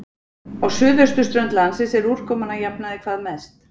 Á suðausturströnd landsins er úrkoman að jafnaði hvað mest.